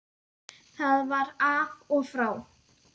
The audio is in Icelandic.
Það var af og frá.